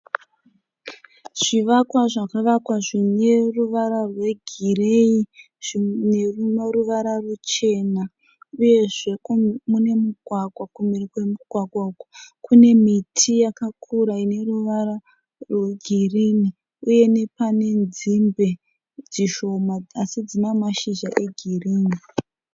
Zvivakwa zvakavakwa zvine ruvara rwegirinhi zvimwe zvine ruvara ruchena uyezve kune mugwagwa. Kumhiri kwemugwagwa uku kune miti yakakura ine ruvara rwegirinhi uye nepane nzimbe dzishoma asi dzine mashizha egirinhi.